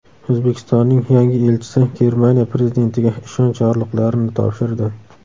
O‘zbekistonning yangi elchisi Germaniya prezidentiga ishonch yorliqlarini topshirdi.